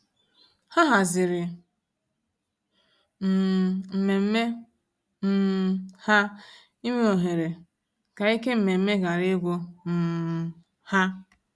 Ha hazịri um mmemme um ha ịnwe ohere, ka ike mmemme ghara igwu um ha.